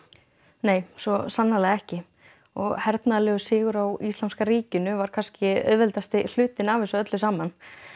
nei svo sannarlega ekki sigur á Íslamska ríkinu var kannski auðveldi hlutinn af þessu öllu saman